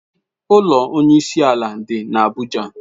Ụlọ Onye isi ala dị n'Abuja.